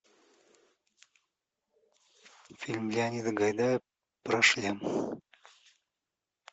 фильм леонида гайдая про шлем